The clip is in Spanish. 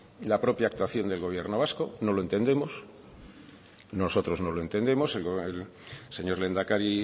la propia actuación del gobierno vasco no lo entendemos nosotros no lo entendemos el señor lehendakari